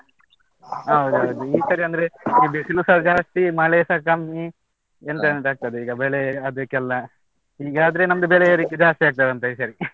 ಹೌದೌದು ಈ ಸರಿ ಅಂದ್ರೆ, ಈ ಬಿಸಿಲುಸ ಜಾಸ್ತಿ, ಮಳೆಸಾ ಕಮ್ಮಿ, ಎಂತೆಂತ ಆಗ್ತದೆ ಈಗ ಬೆಳೆ ಅದಕ್ಕೆಲ್ಲ, ಹೀಗಾದ್ರೆ ನಮ್ದು ಬೆಲೆ ಏರಿಕೆ ಜಾಸ್ತಿ ಆಗ್ತದಂತ ಈ ಸರಿ.